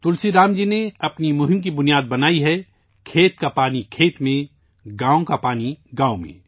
تلسی رام جی نے اپنی مہم کی بنیاد بنائی ہے کھیتوں کا پانی کھیتوں میں، گاؤں کا پانی گاؤں میں